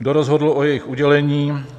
Kdo rozhodl o jejich udělení?